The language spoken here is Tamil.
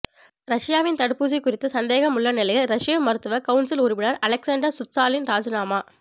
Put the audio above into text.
ரஷ்யாவின் தடுப்பூசி குறித்து சந்தேகம் உள்ள நிலையில் ரஷ்ய மருத்துவ கவுன்சில் உறுப்பினர் அலெக்ஸான்டர் சுச்சாலின் ராஜினாமா